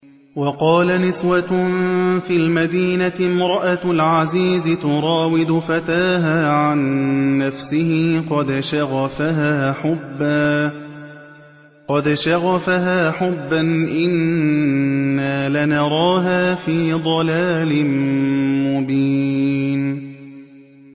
۞ وَقَالَ نِسْوَةٌ فِي الْمَدِينَةِ امْرَأَتُ الْعَزِيزِ تُرَاوِدُ فَتَاهَا عَن نَّفْسِهِ ۖ قَدْ شَغَفَهَا حُبًّا ۖ إِنَّا لَنَرَاهَا فِي ضَلَالٍ مُّبِينٍ